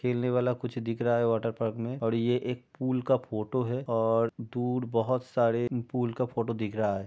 खेलने वाला कुछ दिख रहा है वॉटरपार्क में और ये एक पूल का फोटो है और दूर बोहोत सारे पूल का फोटो दिख रहा है।